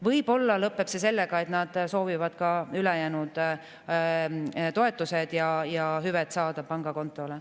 Võib-olla lõpeb see sellega, et nad soovivad ka ülejäänud toetused ja hüved saada pangakontole.